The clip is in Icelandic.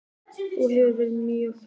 Þú hefur verið mér mjög hjálplegur